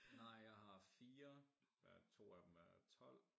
Nej jeg har 4 som er 2 af dem er 12